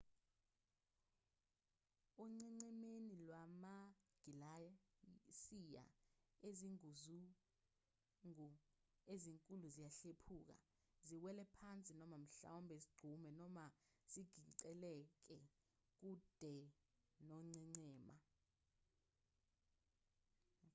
onqenqemeni lwamagilasiya izinguzungu ezinkulu ziyahlephuka ziwele phansi noma mhlawumbe zigxume noma zigingqikele kude nongqengqema